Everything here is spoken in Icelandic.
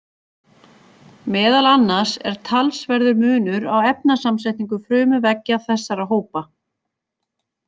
Meðal annars er talsverður munur á efnasamsetningu frumuveggja þessara hópa.